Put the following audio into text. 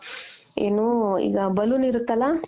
ಏನು ಈಗ balloon ಇರುತ್ತಲ